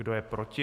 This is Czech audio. Kdo je proti?